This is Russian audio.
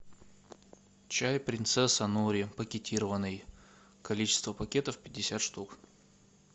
чай принцесса нури пакетированный количество пакетов пятьдесят штук